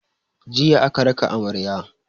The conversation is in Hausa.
Jiya aka raka amarya.